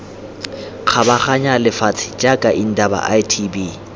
kgabaganya lefatshe jaaka indaba itb